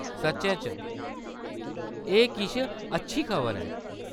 सच्चै च ? एह्‌‌ किश अच्छी खबर ऐ।